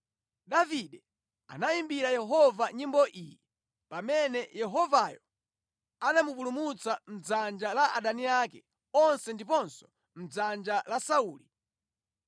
Davide anayimbira Yehova nyimbo iyi pamene Yehovayo anamupulumutsa mʼdzanja la adani ake onse ndiponso mʼdzanja la Sauli.